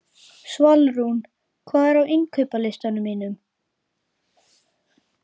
Svalrún, hvað er á innkaupalistanum mínum?